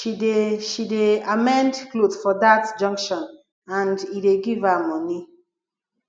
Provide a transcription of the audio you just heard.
she dey she dey amend clothe for dat junction and e dey give her moni